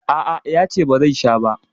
A a, ya ce ba zai sha ba.